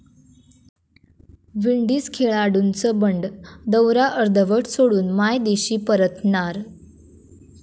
Windies खेळाडूंचं बंड, दौरा अर्धवट सोडून मायदेशी परतणार